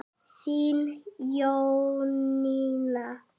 Þín Jónína.